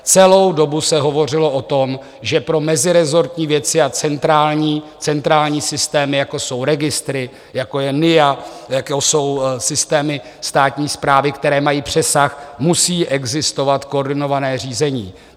Celou dobu se hovořilo o tom, že pro meziresortní věci a centrální systém, jako jsou registry, jako je NIA, jako jsou systémy státní správy, které mají přesah, musí existovat koordinované řízení.